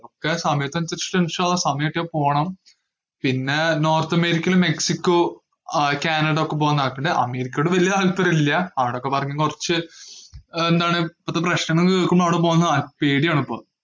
ഒക്കെ സമയത്തിന് അനുസരിച്ചിട്ട് സമയം കിട്ടിയാ പോണം, പിന്നേ നോർത്ത് അമേരിക്കയില് മെക്സിക്കോ ആഹ് കാനഡ ഒക്കെ പോവാൻ താല്പര്യണ്ട്. അമേരിക്കയോട് വലിയ താല്പര്യ ഇല്ല. അവിടൊക്കെ പറഞ്ഞാൽ കൊറച് ഏർ എന്താണ് ഇപ്പത്തെ പ്രശ്നങ്ങള് കേൾക്കുമ്പോ അവിടെ പോകുന്ന ആഹ് പേടിയാണ് ഇപ്പോം.